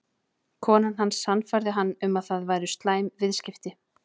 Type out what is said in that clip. Konan hans sannfærði hann um að það væru slæm viðskipti.